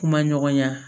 Kuma ɲɔgɔnya